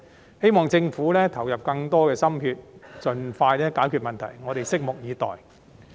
我希望政府投入更多心血，盡快解決問題。我們對此拭目以待。